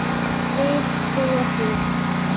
Vil trúa því.